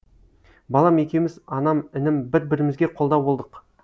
балам екеуміз анам інім бір бірімізге қолдау болдық